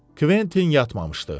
Kventin yatmamışdı.